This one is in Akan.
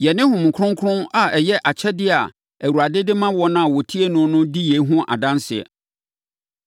Yɛne Honhom Kronkron a ɛyɛ akyɛdeɛ a Awurade de ma wɔn a wɔtie no no di yei ho adanseɛ.”